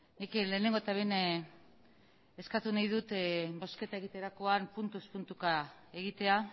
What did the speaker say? nik lehenengo eta behin eskatu nahi dut bozketa egiterakoan puntuz puntuka egitea